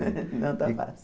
Não está fácil.